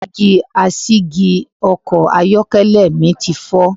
Dígí asìjì Ọkọ̀ ayọ́kẹ́lẹ̀ mi ti fọ.